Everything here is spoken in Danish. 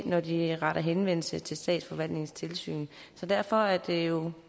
når de retter henvendelse til statsforvaltningens tilsyn så derfor er det jo